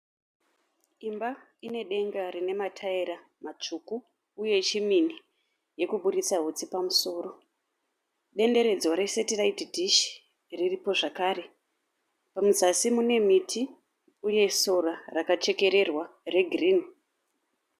Imba ine denga rina mataira matsvuku uye chimini yekuburitsa hutsi pamusoro. Denderedzwa re(satellite dish) riripo zvekare. Muzasi mune miti uye sora rakachekererwa regirini.